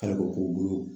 Hali o k'o bolo